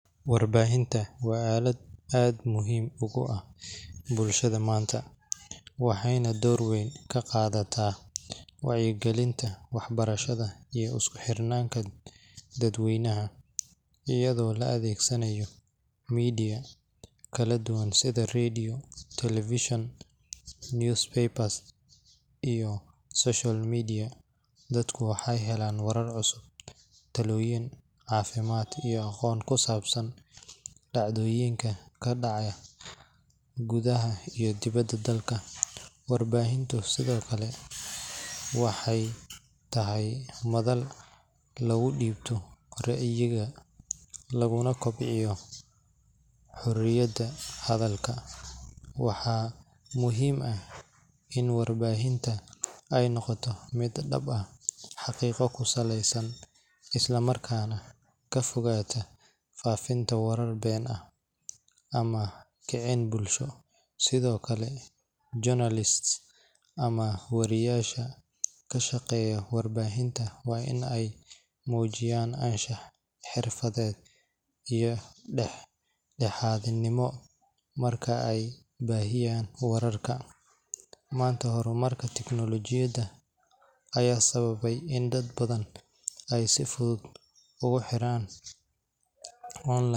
Warbahinta wa alad aad muhiim ogu ah bulshada manta, waxay naa dor wan ka qadatah wacyagalinta waxbarashada iyo isku xirnata dad waynaha, ayado la adigsanayo media kala dugan side radio tv [vs] newspaper, iyo socal media dadka waxay hanan waar cusub taloyin cafimad iyo aqon ku sabsan, dacdoyinka ka daca kudaxa iyo diwada dalka, waar bahinta side okle, waxay tahay madal lagu dibtoh gorciyada laguna gobcinyo, horiyada hadalka, waxa muhiim ah in a waar bahinta ay noqtoh mid dhib ah xaqiqo ku salasan ka fogtah fafinta waarka baan ah ama gacin bulsho side okle jonalist ama waariyasha ka shaqayo waarbahinta way ina mujiyan an shah xirfadad, iyo dadha hanimo markay waar bahiyan waarka manta hormarka techologyada aya sawabta in ay dad badan aya si fudud ogu xiran.